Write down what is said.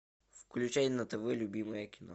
включай на тв любимое кино